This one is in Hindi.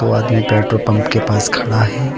वो आदमी पेट्रोल पंप के पास खड़ा है।